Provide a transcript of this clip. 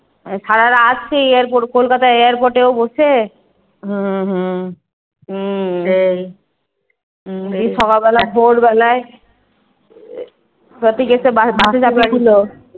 সারারাত সেই airport Kolkata airport এও বসে এই সকাল বেলা ভোর বেলায়